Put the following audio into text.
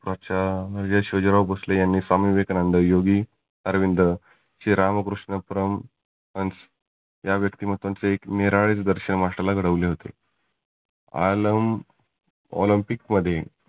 प्राचार्य शिवाजीराव भोसले यांनी स्वमी विवेकानंद, योगी आरविंद, श्री रामकृष्ण परमहंस या व्यक्तिमत्वांच एक निराळे दर्शन माणसाला घडविले होते. आलम olympic मध्ये